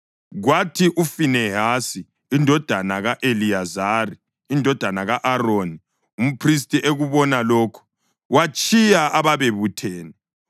Kwathi uFinehasi indodana ka-Eliyazari indodana ka-Aroni, umphristi, ekubona lokho, watshiya ababebuthene,